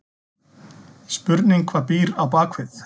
Spurning hvað býr á bakvið?!